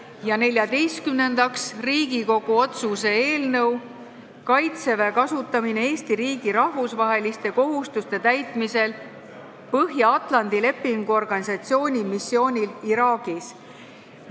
Ja neljateistkümnendaks, Riigikogu otsuse "Kaitseväe kasutamine Eesti riigi rahvusvaheliste kohustuste täitmisel Põhja-Atlandi Lepingu Organisatsiooni missioonil Iraagis" eelnõu.